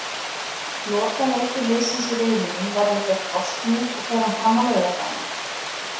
Lokaleikur liðsins í riðlinum verður gegn Bosníu og fer hann fram á laugardaginn.